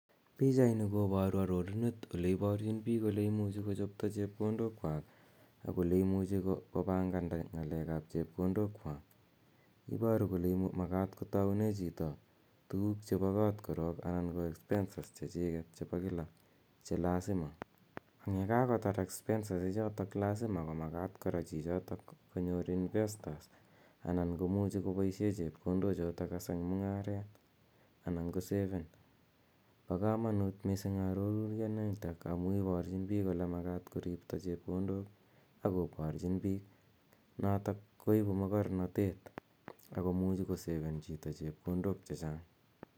Pichaini koparu arorunet ole iparchin piik ole imuchi kochoto chepkondokwak ak ole imuchi kopanganda ng'alek ap chepkondokwak. Iparu kole makat kotaune chito tuguuk chepo kot korok anan ko (cs expenses chechik chepo kila che lasima. Eng' ya kakotar expenses ichotok lasima ko makat kora chichotok konyor investors( anan ko muchi kopaishe chepkondochok as eng' mung'aret anan koseven. Pa kamanut missing' arorutianitok amu iparchin piik ole makat koripto chepkondok ako parchin piik notok koipu makarnatet ako muchi koseven chito chepkondok che chang'.